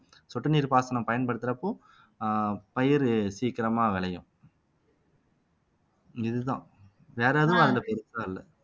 சொட்டு நீர் பாசனம் பயன்படுத்தறப்போ ஆஹ் பயிறு சீக்கிரமா விளையும் இதுதான் வேற எதுவும் அதுல பெருசா இல்ல